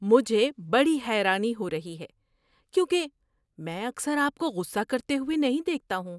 مجھے بڑی حیرانی ہو رہی ہے کیونکہ میں اکثر آپ کو غصہ کرتے ہوئے نہیں دیکھتا ہوں۔